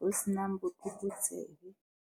ho se nang botlokotsebe.